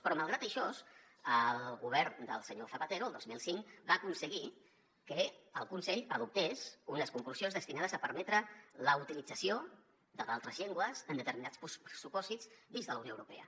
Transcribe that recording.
però malgrat això el govern del senyor zapatero el dos mil cinc va aconseguir que el consell adoptés unes conclusions destinades a permetre la utilització d’altres llengües en determinats supòsits dins de la unió europea